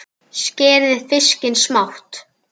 Skerið fiskinn smátt.